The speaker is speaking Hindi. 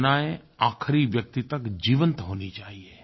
योजनायें आखरी व्यक्ति तक जीवंत होनी चाहियें